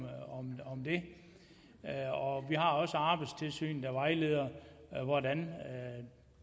det og vi har også arbejdstilsynet der vejleder i hvordan